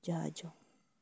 njanjo